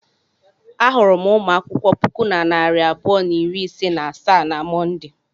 Ahụrụ m ụmụ akwụkwọ puku na narị abụọ na iri ise na asaa na Mọnde.